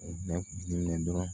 Ne minɛ dɔrɔn